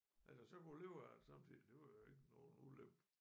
At jeg så kunne leve af det samtidig det var jo ikke nogen ulykke